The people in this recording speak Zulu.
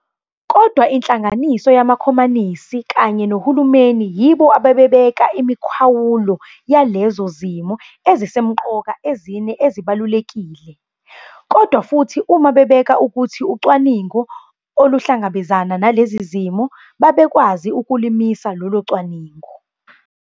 Kodwa inhlangano yamakhomanisi kanye nohulumeni yibo ababebeka imikhawulo yalezo zimiso ezisemqoka ezine ezibalulekile, kodwa futhi uma bebena ukuthi ucwaningo aluhlangabezana nalezo zimiso, babekwazi ukulumisa lolo cwaningo.